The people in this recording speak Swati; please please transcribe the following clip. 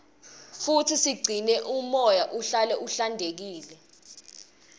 futsi sigcine umoya uhlale uhlantekile